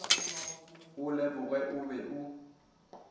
o leboge o be o